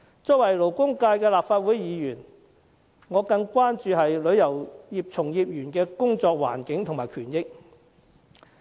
作為勞工界的立法會議員，我更關注旅遊業從業員的工作環境及權益。